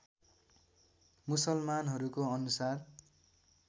मुसलमानहरूको अनुसार